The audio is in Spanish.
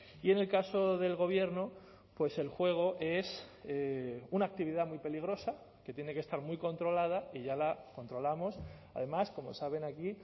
y en el caso del gobierno pues el juego es una actividad muy peligrosa que tiene que estar muy controlada y ya la controlamos además como saben aquí